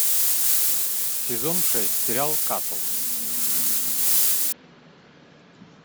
сезон шесть сериал касл